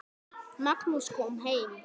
Magnús kom heim.